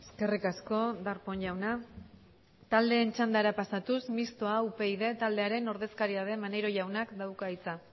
eskerrik asko darpón jauna taldeen txandara pasatuz mistoa upyd taldearen ordezkaria den maneiro jaunak dauka hitza